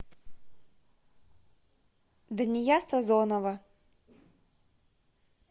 дания сазонова